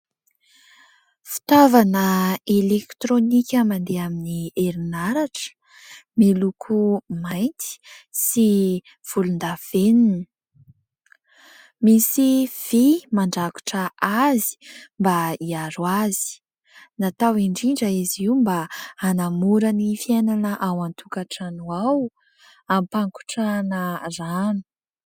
Fitaovana elektronika mandeha amin'ny herinaratra, miloko mainty sy volondavenona. Misy vy mandrakotra azy mba hiaro azy. Natao indrindra izy io mba hanamora ny fiainana ao an-tokantrano ao, ampangotrahana rano.